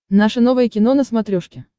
наше новое кино на смотрешке